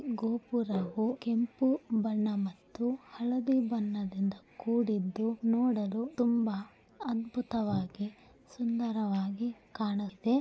ಗೋಪುರವು ಕೆಂಪು ಬಣ್ಣ ಮತ್ತು ಹಳದಿ ಬಣ್ಣದಿಂದ ಕೂಡಿದ್ದು ನೋಡಲು ತುಂಬಾ ಅದ್ಭುತವಾಗಿ ಸುಂದರವಾಗಿ ಕಾಣುತ್ತೆ.